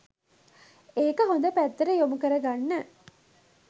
ඒක හොඳ පැත්තට යොමු කර ගන්න